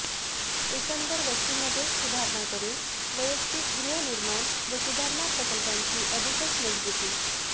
एकंदर वस्तीमध्येच सुधारणा करून वैयक्तिक गृहनिर्माण व सुधारणा प्रकल्पांची अधिकच मजबूती